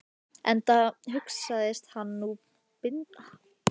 Enda hugðist hann nú binda enda á þessi samskipti þeirra.